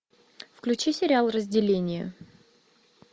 включи сериал разделение